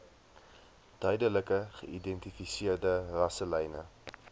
duidelik geïdentifiseerde rasselyne